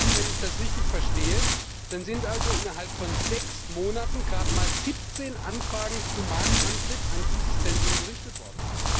Wenn ich das richtig verstehe, sind also innerhalb von sechs Monaten gerade mal 17Anfragen zum Markteintritt an dieses Zentrum gerichtet worden.